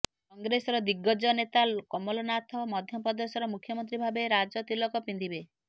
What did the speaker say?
କଂଗ୍ରେସର ଦିଗ୍ଗଜ ନେତା କମଲନାଥ ମଧ୍ୟପ୍ରଦେଶର ମୁଖ୍ୟମନ୍ତ୍ରୀ ଭାବେ ରାଜ ତିଲକ ପିନ୍ଧିବେ